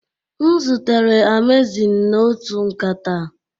M zutere Amazing na otu nkata